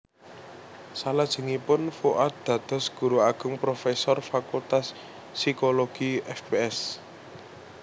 Salajengipun Fuad dados guru ageng profesor Fakultas Psikologi Fps